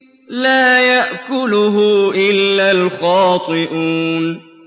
لَّا يَأْكُلُهُ إِلَّا الْخَاطِئُونَ